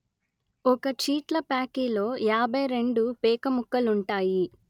ఒక చీట్లప్యాకిలో యాభై రెండు పేకముక్కలుంటాయి